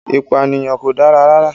Ìpànìyàn kò dára rara